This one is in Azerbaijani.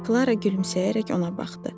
Klara gülümsəyərək ona baxdı.